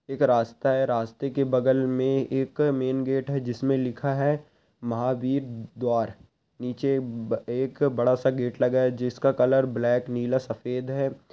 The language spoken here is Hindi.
एक रास्ता है रास्ते के बगल में एक मेन गेट है जिस में लिखा है महावीर द्वार नीचे ब एक बड़ा सा गेट लगा है जिसका कलर ब्लैक नीला सफ़ेद है।